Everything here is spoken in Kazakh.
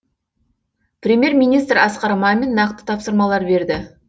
премьер министр асқар мамин нақты тапсырмалар берді